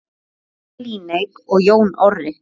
Hrefna Líneik og Jón Orri.